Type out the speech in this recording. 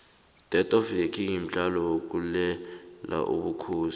death of the king mdlalo wokulela ubukhosi